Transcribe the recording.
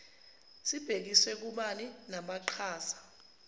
sibhekiswe kubani namaqhaza